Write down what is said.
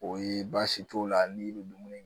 O ye baasi t'o la n'i bɛ dumuni kɛ